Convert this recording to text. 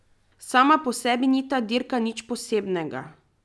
Sama po sebi ni ta dirka nič posebnega.